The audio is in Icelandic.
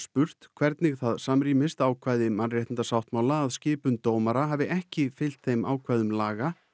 spurt hvernig það samrýmist ákvæði mannréttindasáttmála að skipun dómara hafi ekki fylgt þeim ákvæðum laga